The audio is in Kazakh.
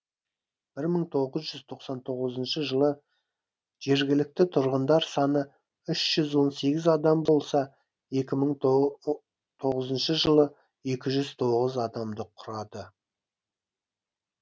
бір мың тоғыз жүз тоқсан тоғызыншы жылы жергілікті тұрғындар саны үш жүз он сегіз адам болса екі мың тоғызыншы жылы екі жүз тоғыз адамды құрады